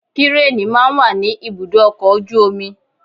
Kírení máa ń wà ní ibùdó ọkọ̀ ojú omi.